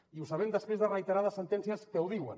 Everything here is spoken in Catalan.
i ho sabem després de reiterades sentències que ho diuen